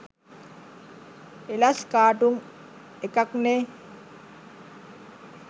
එලස් cartoon එකක්නේ